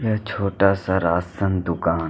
यह छोटा सा राशन दूकान--